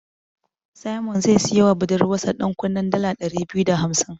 Simon zai siyowa budurwarsa ɗankunnen dala ɗari biyu da hamsin.